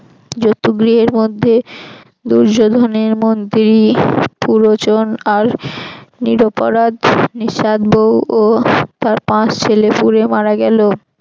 জতুগৃহের মধ্যে দুর্যোধনের মন্ত্রী পুরোচন আর নিরপরাধ নিষাদ বউ ও তার পাঁচ ছেলে পুড়ে মারা গেল।